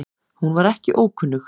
Hún var ekki ókunnug